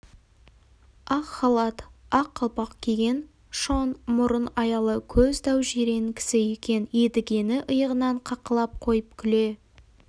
ақ халат ақ қалпақ киген шоң мұрын аялы көз дәу жирен кісі екен едігені иығынан қаққылап қойып күле